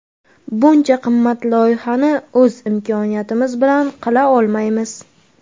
Buncha qimmat loyihani o‘z imkoniyatimiz bilan qila olmaymiz.